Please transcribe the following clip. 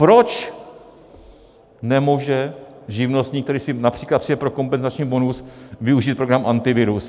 Proč nemůže živnostník, který si například přijde pro kompenzační bonus, využít program Antivirus?